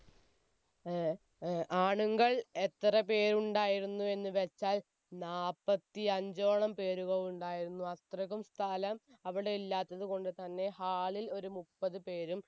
ഏർ ഏർ ആണുങ്ങൾ എത്രപേരുണ്ടായിരുന്നു എന്ന് വെച്ചാൽ നാപത്തി അഞ്ചോളം പേരുകൾ ഉണ്ടായിരുന്നു അത്രയ്ക്കും സ്ഥലം അവിടെ ഇല്ലാത്ത കൊണ്ട് തന്നെ hall ൽ ഒരു മുപ്പത് പേരും